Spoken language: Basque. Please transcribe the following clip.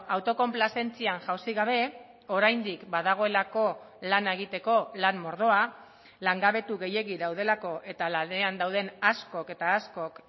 autokonplazentzian jausi gabe oraindik badagoelako lana egiteko lan mordoa langabetu gehiegi daudelako eta lanean dauden askok eta askok